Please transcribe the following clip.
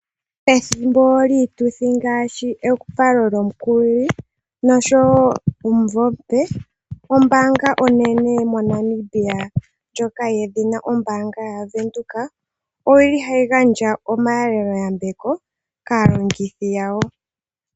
Pethimbo lyiituthi ngaashi evalo lyomukukilili oshowo omumvo omupe, ombaanga onene moNamibia ndjoka yedhina ombaanga yaWindhoek oyili hayi gandja omahalelo yambeko kaalongithi yawo.